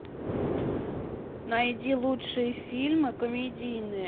найди лучшие фильмы комедийные